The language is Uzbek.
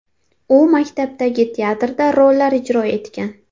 U maktabdagi teatrda rollar ijro etgan.